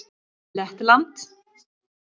Lettland